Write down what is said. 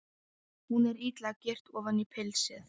Hún er illa girt ofan í pilsið.